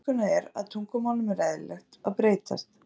Alkunna er að tungumálum er eðlilegt að breytast.